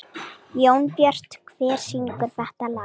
Jónbjört, hver syngur þetta lag?